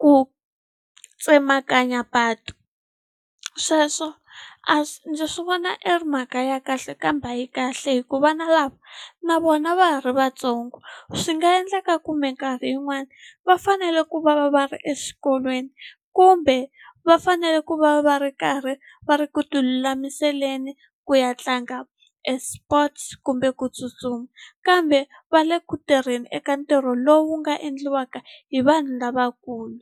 ku tsemakanya patu sweswo a ndzi swi vona i ri mhaka ya kahle kambe a yi kahle hi ku vana lava na vona va ha ri vatsongo swi nga endleka ku minkarhi yin'wani va fanele ku va va va ri exikolweni kumbe va fanele ku va va ri karhi va ri ku tilulamiseni ku ya tlanga e sports kumbe ku tsutsuma kambe va le ku tirheni eka ntirho lowu nga endliwaka hi vanhu lavakulu.